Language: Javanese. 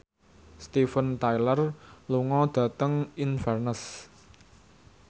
Steven Tyler lunga dhateng Inverness